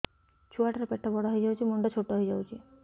ଛୁଆ ଟା ର ପେଟ ବଡ ହେଇଯାଉଛି ମୁଣ୍ଡ ଛୋଟ ହେଇଯାଉଛି